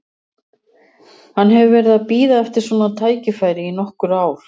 Hann hefur verið að bíða eftir svona tækifæri í nokkur ár.